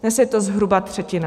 Dnes je to zhruba třetina.